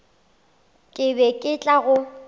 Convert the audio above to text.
ke be ke tla go